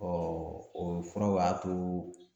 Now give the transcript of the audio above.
Ɔɔ o furaw y'a to